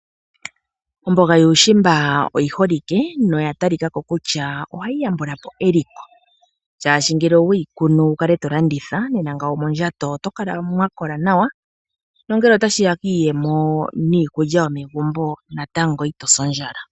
Omboga yuushimba oyi holike no ya talikako kutya ohayi yambulapo eliko shashi ngele oweyi kunu wukale tolanditha nena ngawo mondjato otokala mwakola nawa nongele otashi ya kiiyemo niikulya yomegumbo natango itosi ondjala.